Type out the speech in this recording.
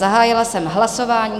Zahájila jsem hlasování.